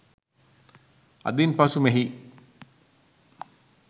අදින් පසු මෙහි